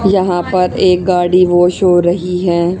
यहां पर एक गाड़ी वॉश हो रही है।